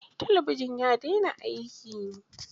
Talabijin ya daina aiki.